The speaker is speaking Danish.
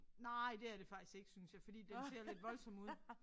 Nej det er det faktisk ikke synes jeg fordi den ser lidt voldsom ud